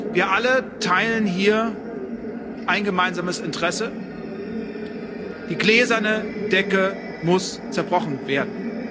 Wir alle teilen hier ein gemeinsames Interesse Die gläserne Decke muss zerbrochen werden.